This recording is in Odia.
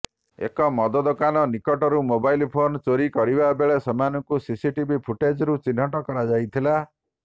ଏକ ମଦ ଦୋକାନ ନିକଟରୁ ମୋବାଇଲ୍ ଫୋନ୍ ଚୋରି କରିବାବେଳେ ସେମାନଙ୍କୁ ସିସିଟିଭି ଫୁଟେଜ୍ରୁ ଚିହ୍ନଟ କରାଯାଇଥିଲା